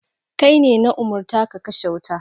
Kai ne na umurta ka kashe wuta.